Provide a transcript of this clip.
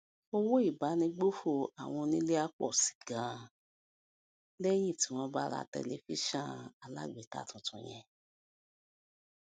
owó ìbánigbófò àwọn onílé á pọ sí i ganan lẹyìn tí wọn bá ra tẹlifíṣọn alágbèéká tuntun yẹn